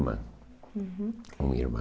Uhum. Uma irmã.